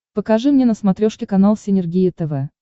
покажи мне на смотрешке канал синергия тв